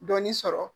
Dɔɔnin sɔrɔ